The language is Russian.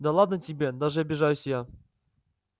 да ладно тебе даже обижаюсь я